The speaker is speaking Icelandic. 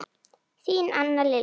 Þín Anna Lilja.